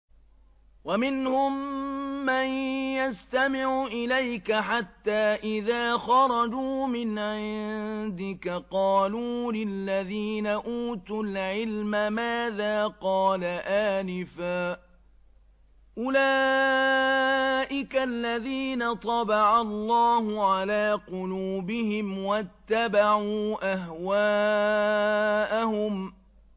وَمِنْهُم مَّن يَسْتَمِعُ إِلَيْكَ حَتَّىٰ إِذَا خَرَجُوا مِنْ عِندِكَ قَالُوا لِلَّذِينَ أُوتُوا الْعِلْمَ مَاذَا قَالَ آنِفًا ۚ أُولَٰئِكَ الَّذِينَ طَبَعَ اللَّهُ عَلَىٰ قُلُوبِهِمْ وَاتَّبَعُوا أَهْوَاءَهُمْ